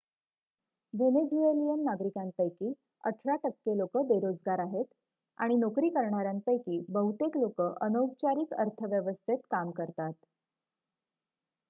Venezuelan नागरिकांपैकी अठरा टक्के लोकं बेरोजगार आहेत आणि नोकरी करणाऱ्यांपैकी बहुतेक लोकं अनौपचारिक अर्थव्यवस्थेत काम करतात